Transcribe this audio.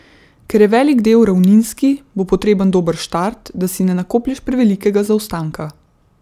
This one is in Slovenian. Ker je velik del ravninski, bo potreben dober štart, da si ne nakoplješ prevelikega zaostanka.